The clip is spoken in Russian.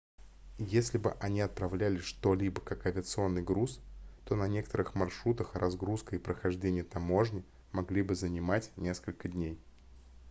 если бы они отправляли что-либо как авиационный груз то на некоторых маршрутах разгрузка и прохождение таможни могли бы занимать несколько дней